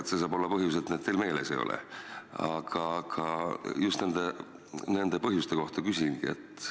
Vaevalt saab põhjus olla see, et need teil lihtsalt meeles ei ole.